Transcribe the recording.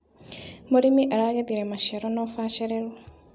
Mũrĩmi aragethire maciaro na ũbacĩrĩru.